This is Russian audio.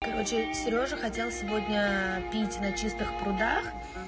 короче серёжа хотел сегодня пить на чистых прудах